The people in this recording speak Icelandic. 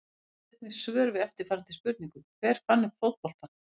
Skoðið einnig svör við eftirfarandi spurningum Hver fann upp fótboltann?